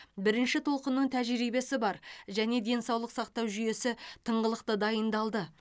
бірінші толқынның тәжірибесі бар және денсаулық сақтау жүйесі тыңғылықты дайындалды